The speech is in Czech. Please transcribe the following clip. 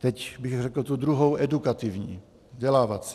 Teď bych řekl tu druhou, edukativní, vzdělávací.